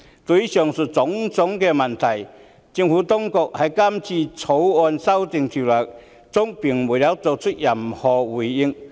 對於上述種種問題，政府當局在《條例草案》中並沒有作出任何回應。